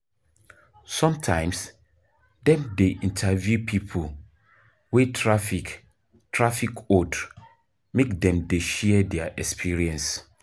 Sometimes, dem dey interview pipo wey traffic traffic hold make dem dey share their experience